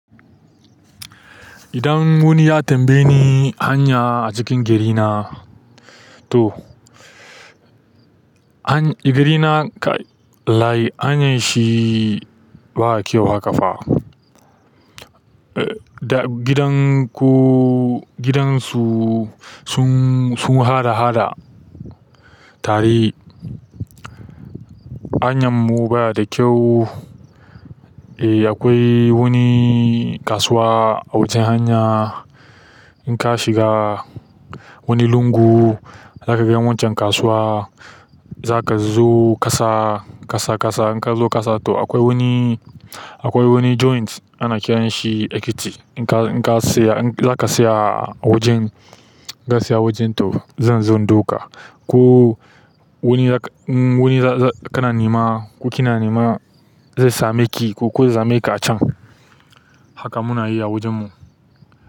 Idan wani ya tambaye ni hanya a cikin gari na to, garina kai wallahi hanyar shi ba kyau haka fa. Gidan ku, gidan su sun, sun haɗa-haɗa tare. Hanyan mu baya da kyau. E, akwai wani kasuwa a wajen hanya. In ka shiga wani lungu za ka ga wancan kasuwa. Za ka zo ƙasa, ƙasa, ƙasa. In ka zo ƙasa to akwai wani, akwai wani joint ana kiranshi Ekiti. In ka, in ka tsaya, za ka tsaya a wajen, idan za ka tsaya a wajen to zan zo in ɗauka. Ko wani, in wani kana nema ko kina nema zai sameki ko ya sameka a can. Haka muna yi a wajen mu.